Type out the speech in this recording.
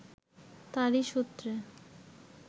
তাঁরই সূত্রে